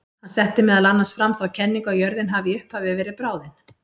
Hann setti meðal annars fram þá kenningu að jörðin hafi í upphafi verið bráðin.